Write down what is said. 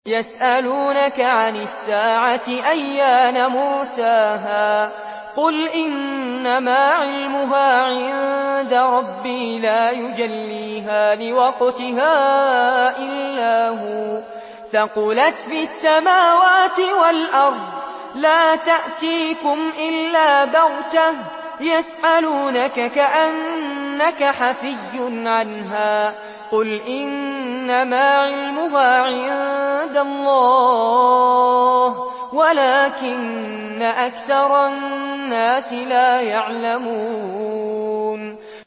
يَسْأَلُونَكَ عَنِ السَّاعَةِ أَيَّانَ مُرْسَاهَا ۖ قُلْ إِنَّمَا عِلْمُهَا عِندَ رَبِّي ۖ لَا يُجَلِّيهَا لِوَقْتِهَا إِلَّا هُوَ ۚ ثَقُلَتْ فِي السَّمَاوَاتِ وَالْأَرْضِ ۚ لَا تَأْتِيكُمْ إِلَّا بَغْتَةً ۗ يَسْأَلُونَكَ كَأَنَّكَ حَفِيٌّ عَنْهَا ۖ قُلْ إِنَّمَا عِلْمُهَا عِندَ اللَّهِ وَلَٰكِنَّ أَكْثَرَ النَّاسِ لَا يَعْلَمُونَ